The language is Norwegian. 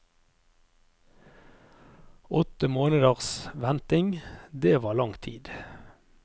Åtte måneders venting, det var langt tid.